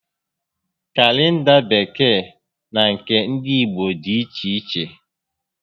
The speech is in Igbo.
Kalenda Bekee na nke ndị Igbo dịiche iche